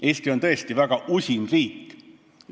Eesti on tõesti väga usin riik.